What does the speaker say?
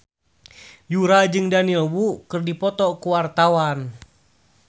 Yura jeung Daniel Wu keur dipoto ku wartawan